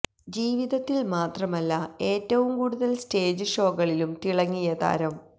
ജീവിതത്തില് മാത്രമല്ല ഏറ്റവും കൂടുതല് സ്റ്റേജ് ഷോകളിയും തിളങ്ങിയ താരം